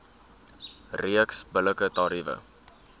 reeks billike tariewe